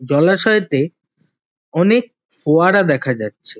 জলাশয়েতে অনেক ফোয়ারা দেখা যাচ্ছে।